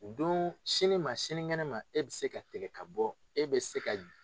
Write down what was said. U don sini ma sini kɛnɛ ma e bɛ se ka tigɛ ka bɔ e bɛ se ka